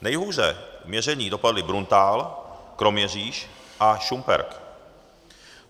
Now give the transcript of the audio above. Nejhůře v měření dopadl Bruntál, Kroměříž a Šumperk.